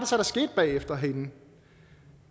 så der skete bagefter herinde